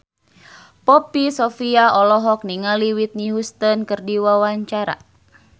Poppy Sovia olohok ningali Whitney Houston keur diwawancara